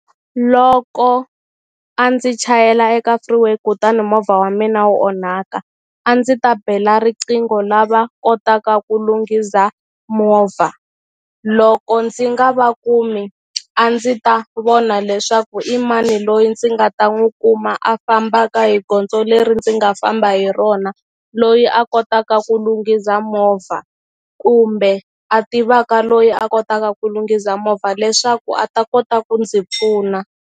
Loko a ndzi chayela eka freeway kutani movha wa mina wo onhaka a ndzi ta bela riqingho lava kotaka ku lunghiza movha loko ndzi nga va kumi a ndzi ta vona leswaku i mani loyi ndzi nga ta n'wu kuma a fambaka hi gondzo leri ndzi nga famba hi rona loyi a kotaka ku lunghiza movha kumbe a tivaka loyi a kotaka ku lunghiza movha leswaku a ta kota ku ndzi pfuna.